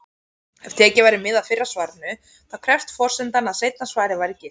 Ef tekið væri mið af fyrra svarinu, þá krefðist forsendan að seinna svarið væri gilt.